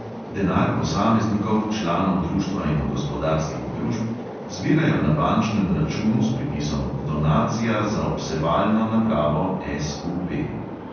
Denar posameznikov, članov društva in gospodarskih družb zbirajo na bančnem računu s pripisom donacija za obsevalno napravo SUP.